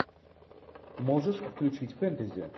можешь включить фэнтези